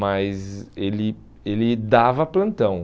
Mas ele ele dava plantão.